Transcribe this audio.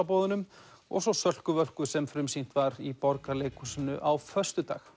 jólaboðunum og svo Sölku Völku sem frumsýnt var í Borgarleikhúsinu á föstudag